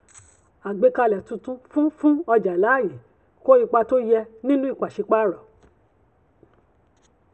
àgbékalẹ̀ títun fún fún ọjà láàyè kó ipa tó yẹ nínú ìpàsípààrọ̀.